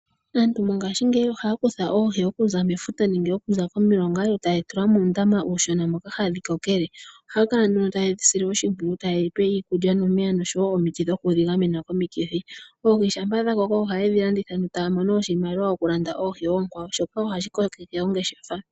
Aantu mongashingeyi ohaya kutha oohi okuza mefuta nenge komilonga yo taye dhi tula muundama uushona moka hadhi kokele. Ohaya kala nduno taye dhi sile oshimpwiyu yo taye dhi pe iiulya noomeya osho wo omiti dhoku dhi gamena komikithi. Oohi shampa dha koko ohaye dhi landitha yo taya mono oshimaliwa shokulanda oohi oonkwawo shoka wo hashi kokeke ongeshefa.